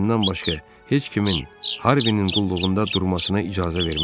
Özündən başqa heç kimin Harvinin qulluğunda durmasına icazə verməzdi.